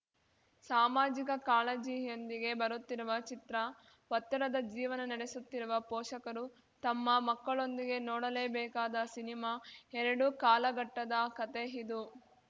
ಸಾಮಾಜಿಕ ಕಾಳಜಿಯೊಂದಿಗೆ ಬರುತ್ತಿರುವ ಚಿತ್ರ ಒತ್ತಡದ ಜೀವನ ನಡೆಸುತ್ತಿರುವ ಪೋಷಕರು ತಮ್ಮ ಮಕ್ಕಳೊಂದಿಗೆ ನೋಡಲೇಬೇಕಾದ ಸಿನಿಮಾ ಎರಡು ಕಾಲಘಟ್ಟದ ಕತೆ ಇದು